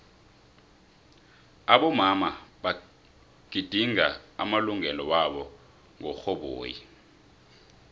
abomama bagidinga amalungelo waba ngo xhoboyi